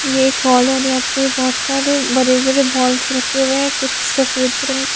ये एक हॉल है और यहाँ पे बहुत सारे बड़े बड़े बॉल्स रखे हुए हैं कुछ सफेद रंग --